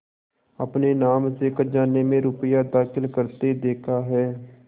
अपने नाम से खजाने में रुपया दाखिल करते देखा है